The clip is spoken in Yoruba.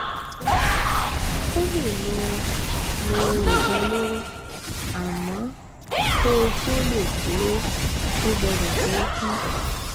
O lè lo lo oògùn olóró, àmọ́ kó o tó lè ṣe é, o gbọ́dọ̀ tóótun